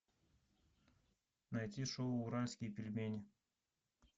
найти шоу уральские пельмени